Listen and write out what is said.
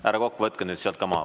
Härra Kokk, võtke nüüd sealt ka maha.